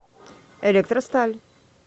электросталь